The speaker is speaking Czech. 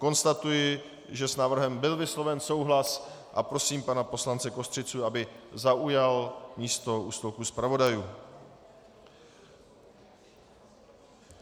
Konstatuji, že s návrhem byl vysloven souhlas, a prosím pana poslance Kostřicu, aby zaujal místo u stolku zpravodajů.